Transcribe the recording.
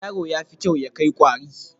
Yaro yafi kyau ya kai kware